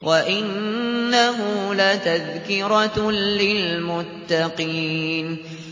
وَإِنَّهُ لَتَذْكِرَةٌ لِّلْمُتَّقِينَ